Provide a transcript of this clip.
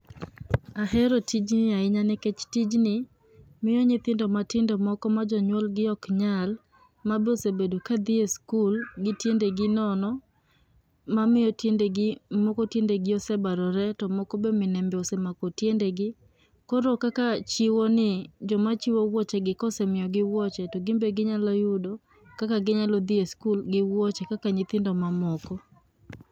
Ahero tijni ahinya nikech tijni miyo nyithindo matindo moko ma jonyuol gi ok nyal mabe osebedo kadhi e skul gi tiendegi nono mamiyo tiendegi moko tiendegi osebarore, to moko be minembe osemako tiendegi. Koro kaka chiwo ni joma chiwo wuochegi kosemiyogi wuoche to gin be ginyalo yudo kaka gidhi e skul gi wuoche kaka nyithindo mamoko